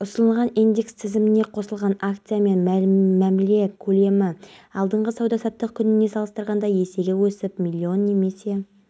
айтты оған қоңырау шалдым алайда ол алмады достарының үйінде қонып ұйықтап жатқан соң алмаған болар